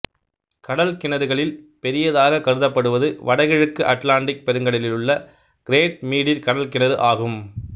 கடல் கிணறுகளில் பெரியதாகக் கருதப்படுவது வடகிழக்கு அட்லாண்டிக் பெருங்கடலிலுள்ள கிரேட் மீடீர் கடல்கிணறு ஆகும்